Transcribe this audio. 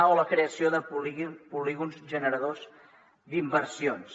o la creació de polígons generadors d’inversions